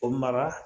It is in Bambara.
O mara